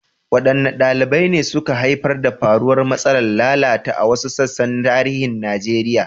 Wadanne dalilai ne suka haifar da faruwar matsalar lalata a wasu sassan tarihin Najeriya?